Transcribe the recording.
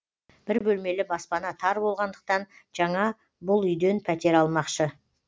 бір бөлмелі баспана тар болғандықтан жаңа бұл үйден пәтер алмақшы